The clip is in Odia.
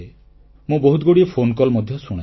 ମୁଁ ବହୁତଗୁଡ଼ିଏ ଫୋନକଲ୍ ମଧ୍ୟ ଶୁଣେ